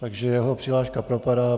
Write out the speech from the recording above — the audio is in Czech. Takže jeho přihláška propadá.